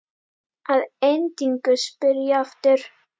Að endingu spyr ég aftur.